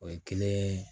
O ye kelen